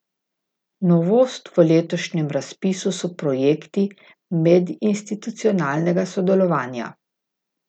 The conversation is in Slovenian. Novost v letošnjem razpisu so projekti medinstitucionalnega sodelovanja.